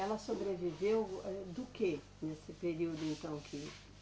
Ela sobreviveu âh, do que nesse período então que